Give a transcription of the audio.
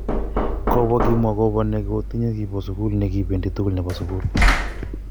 Kobo kimwa kobo ne kotinye kibo sugul ne kibendi tugul nebo sugul.